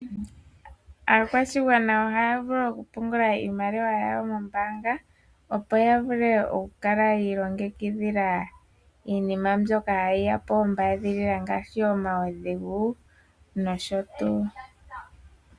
aakwashigwana ohaya vulu okupungula iimaliwa yawo mombaanga opo ya vule oku kala yiilongekidhila iinima mbyoka hayi ya ombaadhilila ngaashi omaudhigu nosho tuu.